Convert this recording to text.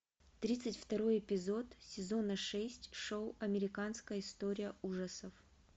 тридцать второй эпизод сезона шесть шоу американская история ужасов